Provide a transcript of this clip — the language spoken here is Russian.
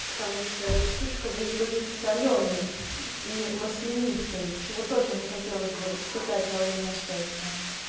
потому что эта штучка будет очень солёной и маслянистой чего тоже не хотелось бы испытать во время секса